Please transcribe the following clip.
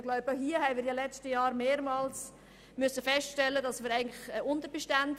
Wir konnten in den letzten Jahren mehrmals feststellen, dass die Polizei personell unterdotiert ist.